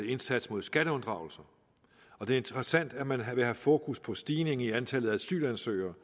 indsats mod skatteunddragelse og det er interessant at man vil have fokus på stigningen i antallet af asylansøgere